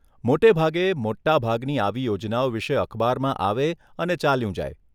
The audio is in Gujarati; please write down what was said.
મોટે ભાગે, મોટા ભાગની આવી યોજનાઓ વિષે અખબારમાં આવે અને ચાલ્યું જાય.